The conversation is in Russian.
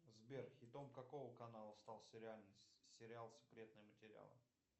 сбер хитом какого канала стал сериал секретные материалы